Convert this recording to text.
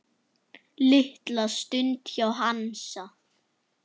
Litla stund hjá Hansa